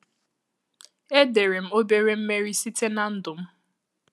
Edere m obere mmeri site na ndụ m.